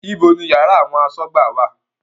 Ibo ni yàrá àwọn asọ́gbà wà?